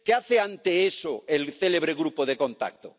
¿Qué hace ante eso el célebre grupo de contacto?